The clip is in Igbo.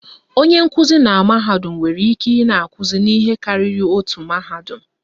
Onye nkụzi na mahadum nwere ike ị na-akụzi n'ihe karịrị otu mahadum